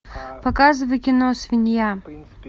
показывай кино свинья